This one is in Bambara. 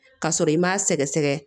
Ka sɔrɔ i m'a sɛgɛsɛgɛ